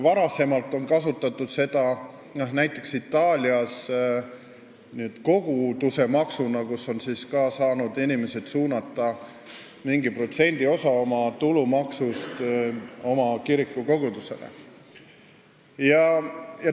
Varem on näiteks Itaalias kasutatud kogudusemaksu: inimesed on saanud suunata mingi protsendiosa oma tulumaksust oma kiriku kogudusele.